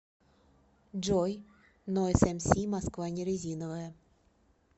джой нойз эмси москва не резиновая